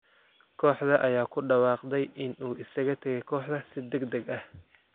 Kooxda ayaa ku dhawaaqday in uu isaga tagay kooxda si degdeg ah.